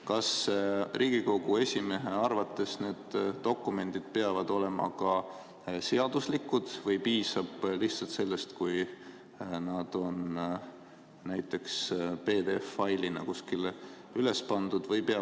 Kas Riigikogu esimehe arvates peavad need dokumendid olema ka seaduslikud või piisab lihtsalt sellest, kui nad on näiteks PDF-failina kuskile üles pandud?